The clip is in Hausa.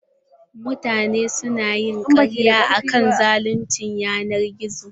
Mutane su na yin karar akant don zaluncin yanar gizo.